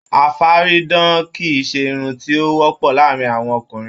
Afaridán kìí ṣe irun ti o wọpọ láàrin àwọn ọkùnrin